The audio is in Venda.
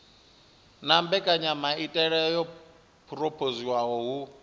na mbekanyamaitele yo phurophoziwaho hu